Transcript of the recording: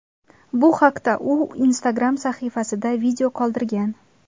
Bu haqda u o‘z Instagram sahifasida video qoldirgan .